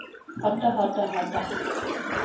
hadde hadde hadde